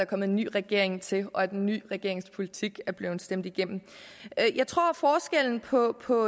kommet en ny regering til og at den nye regerings politik er blevet stemt igennem jeg tror forskellen på på